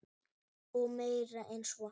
Og meira en svo.